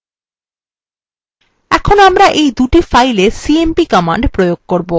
এখন আমরা এই দুই fileswe cmp command প্রয়োগ করবো